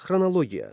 Xronologiya.